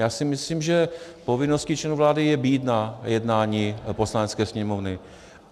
Já si myslím, že povinností členů vlády je být na jednání Poslanecké sněmovny.